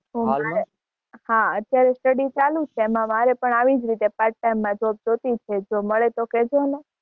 હું અત્યારે Study ચાલુ છે. એમાં મારે પણ આવી જ રીતે Part time માં Job જોતી છે. જો મળે તો કેજોને.